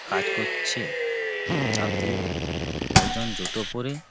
কাজ করছে তাতে একজন জুতো পরে --